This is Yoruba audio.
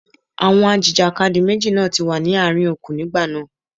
Àwọn ajìjàkadì méjèèjì náà ti wà ní àárín okùn nígbà náà.